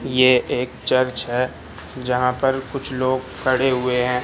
ये एक चर्च है जहां पर कुछ लोग खड़े हुए है।